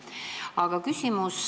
Aga nüüd küsimus.